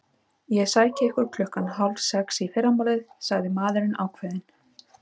Ég sæki ykkur klukkan hálf sex í fyrramálið sagði maðurinn ákveðinn.